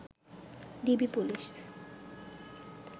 DB police